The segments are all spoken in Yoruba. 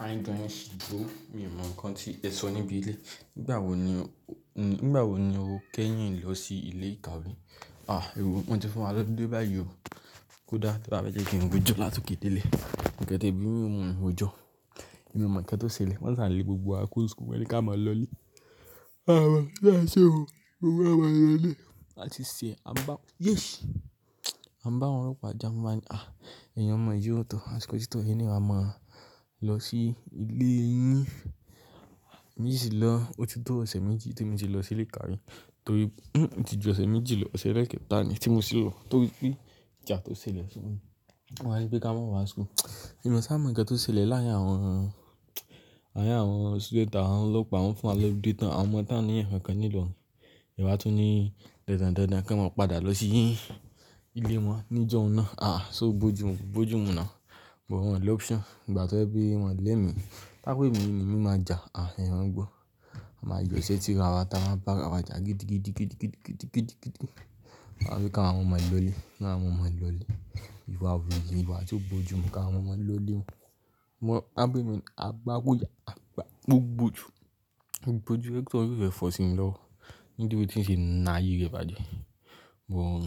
Aáyìndé yẹn sì gbó. Mi ò mọ nǹkan tí ẹ sọ níbi ilé. Nígbà wo ni, nígbà wo ni o kẹ́ yín lọ sí ilé ìkàwé? Àh, è wò wọ́n ti fún wa lólide bá yi òó. Kódà tí e ba fẹ́ jẹ́ kí n gbé jọ láti òkè dé ilé. N kan tié bí mi o mọ̀ ọ́n jọ. Mi o mo nnkan tó ṣẹlẹ̀. Wọ́n sá lé gbogbo wa kúro n school won ni kí á máa lọ̀lẹ̀. Àwa yà á si ò, gbogbo wa máa lọ̀lẹ̀. A tì ṣẹ̀, a bá yéè sí. A n bá àwọn ọlọ́pàá ja wọn báa ńi èèyin omọ̀ yii o. Àṣìkò tí tó fun yín awa máa lọ sí ilé yín. Mi sì lọ, ó ti tó ọ̀sẹ̀ méjì tí mo ti lọ sílé keyin torí oti jù ọ̀sẹ̀ méjì lọ, ọ̀sẹ̀ elekẹ́ta ni tí mo sì lọ. Torí pe jà tó ṣẹlẹ̀ si won. Wọ́n wá ni pe ká mọ́ wá school. Èmi sá mọ̀ kí ó tó ṣẹlẹ̀ láàárín àwọn student àwọn lọ́pàá wọ́n fún wa lólude tán. Àwọn ọmọ tí wọn ò ní nǹkan kan nílò. Ni ẹ wá tún ní dandan dandan kí wọ́n padà lọ sí ilé wọn níjọ́ ọ̀hún náà. Ṣó bójù mu, kò bó jù mú na. But wọ́n ò ní option. Nígbà tó jẹ́ pé wọ́n ò lẹ́mi, tó bá jẹ́ pé èmi ni mí ò ní máa jà, ẹ máa gbọ́. A máa yọ ìṣẹ́ tira wa, ta máa bára wajà gidigidi gidigidi gidigidi. Wọ́n wá ní pé káwọn ọmọ yẹn lọlé. Wọ́n ní àwọn ó máa lọlé. Iwà wọn ò ye, ìwà tí kò bójú mu pé kí àwọn ọmọ máa lọlé. Wọ́n, tó bá jẹ́ èmi nu, a gbá gbó ìyà, á gbá gbúgbù tù. Bó jù rector wọ́n kè fẹ́ fọ sími lọ́wọ́. Níbí ti ń ṣe na ayé rẹ̀ bàjẹ́. Gbogbo wọ́n,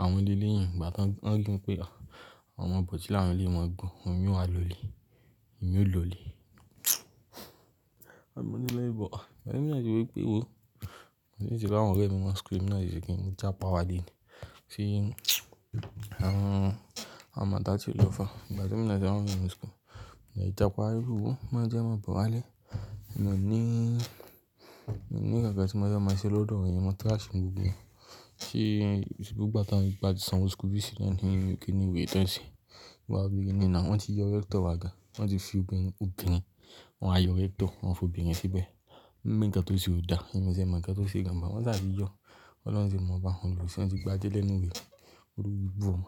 àwọn le leyẹn. Nígbà tí wọ́n rí wọ́n pé, àwọn ọmọ bọ̀tí là wọn eléyìí wọn ò gbọ́n, àwọn náà wá lọlé. Èmi ó lọlé. Wọ́n nílè bọ̀ ohun náà ni wí pé, reason ti àwọn ọ̀rẹ́ mi máa ń scream, naa ni èmi náà fi ṣe kí ní? Mo jápa wálé nu àwọn, àwọn màtá tí lọ far. Ìgbà tí èmi náà àwọn ṣe wà ní school. Mo jápa wálé pé wò ó. Máa jẹ́ ń máa bọ̀ wálé. Mi ò ní mi ò ní nǹkan kan tí mi fẹ́ máa ṣe lọ́dọ̀ wọ́n yẹn mọ́. Trash ni gbogbo wọn. Sé nígbà tí àwọn yẹn bá ti sanwó school fees ìyẹn ni kiní wèrè tí ẹ̀ ń ṣe. Ba ń wiri nu na, wọ́n ti yọ rector wa gan-an. Wọ́n ti fi obìnrin kúkurú kan. Wọ́n wá yọ rector, wọ́n fòbìnrin síbẹ̀. Wọ́n ní nǹkan tó ṣe ò da. Èmi ò ti ẹ̀ mọ̀ nnkantó ṣe gan-an. Wọ́n ṣà ti yọ́. Ọlọ́run ti mu pa, Olósì ẹ ti gba iṣẹ́ lẹ́nu rẹ̀. Olórí ibù ọmọ.